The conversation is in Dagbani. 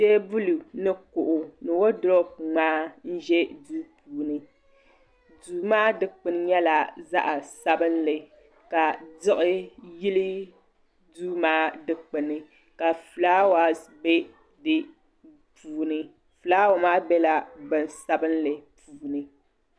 teebuli ni kuɣu woodurop ŋmaa n ʒɛ duu puuni duu maa dikpuni nyɛla zaɣ sabinli ka diɣi yili duu maa dikpuni ka fulaawaasi bɛ puuni fulaawa maa biɛla bin sabinli puuni